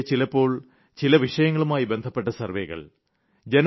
ഇടയ്ക്കൊക്കെ ചിലപ്പോൾ ചില വിഷയങ്ങളുമായി ബന്ധപ്പെട്ട സർവ്വേകൾ